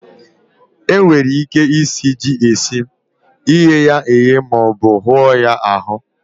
E nwere ike isi ji esi, ighe ya eghe, ma ọ bu hụọ ya ahụ.